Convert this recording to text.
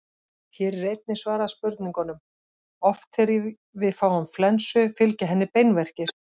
Hér er einnig svarað spurningunum: Oft þegar við fáum flensu fylgja henni beinverkir.